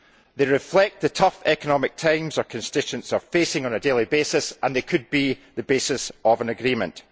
They reflect the tough economic times our constituents are facing on a daily basis and they could be the basis of an agreement.